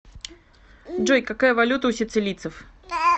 джой какая валюта у сицилийцев